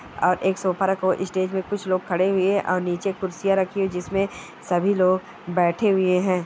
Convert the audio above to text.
और एक सोफा रखा हुआ है। स्टेज पे कुछ लोग खड़े हुए हैं और नीचे कुर्सियाँ रखी हैं जिसमें सभी लोग बैठे हुए हैं।